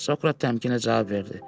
Sokrat təmkinlə cavab verdi.